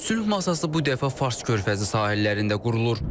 Sülh masası bu dəfə Fars körfəzi sahillərində qurulur.